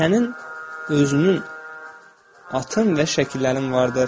Sənin özünün atın və şəkillərin vardır.